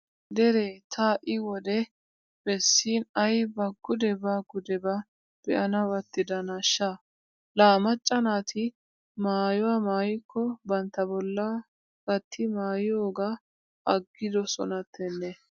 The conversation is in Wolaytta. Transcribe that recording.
Deree ta ha"i wode bessin ayba gudebaa gudebaa be'anawu attidanaashsha? Laa macca naati maayuwa maayikko bantta bollaa gatti maayiyogaa aggidosonattennee.